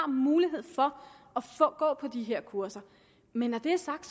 mulighed for at gå på de her kurser men når det er sagt